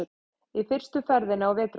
Í fyrstu ferðinni á vetrarbrautinni